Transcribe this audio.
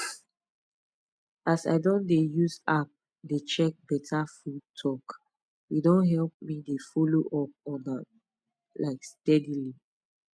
as i don dey use app dey check better food talk e don help me dey follow up on am um steadily